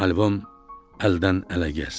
Albom əldən ələ gəzdi.